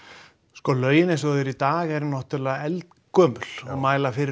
sko lögin eins og þau eru í dag eru náttúrulega eldgömul og mæla fyrir